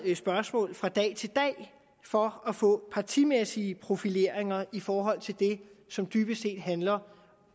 spørgsmål fra dag til dag for at få partimæssige profileringer i forhold til det som dybest set handler